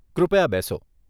કૃપયા બેસો.